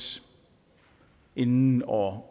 inden år